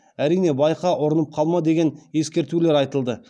әрине байқа ұрынып қалма деген ескертулер айтылды